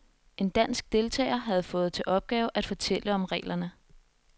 En dansk deltager havde fået til opgave at fortælle om reglerne.